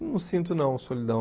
Não sinto, não, solidão.